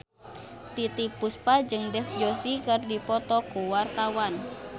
Titiek Puspa jeung Dev Joshi keur dipoto ku wartawan